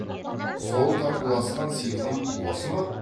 сол татуласқан сиқым осы ма